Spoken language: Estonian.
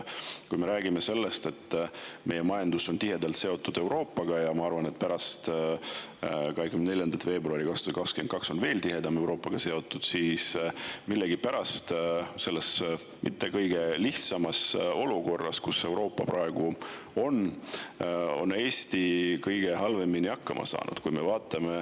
Kui me räägime sellest, et meie majandus on tihedalt seotud Euroopaga, ja ma arvan, et pärast 24. veebruari 2022 on see veel tihedamalt Euroopaga seotud, siis millegipärast on selles mitte kõige lihtsamas olukorras, kus Euroopa praegu on, Eesti kõige halvemini hakkama saanud.